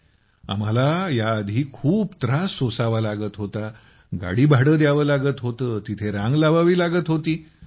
ज्यामुळे आम्हाला खूप त्रास सोसून जावं लागत होतं गाडी भाडं द्यावं लागत होतं तेथे रांग लावावी लागत होती